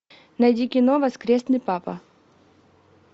найди кино воскресный папа